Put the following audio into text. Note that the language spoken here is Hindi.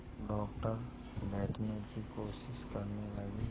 डॉक्टर बैठने की कोशिश करने लगे